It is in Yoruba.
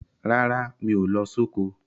Rárá, mi ò lọ soko.